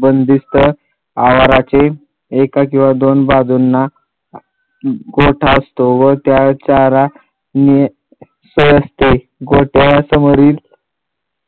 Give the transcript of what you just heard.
बंदिस्त आवाराचे एका किंवा दोन बाजुंना गोठा असतो व त्यात चारा नियं त्रण असते गोठ्यासमोरील